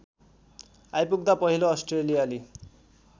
आइपुग्दा पहिलो अस्ट्रेलियाली